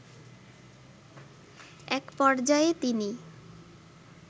এক পর্যায়ে তিনি